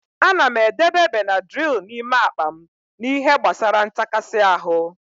Ana m edebe Benadrịl n'ime akpa m n'ihe gbasara ntakasi ahụ.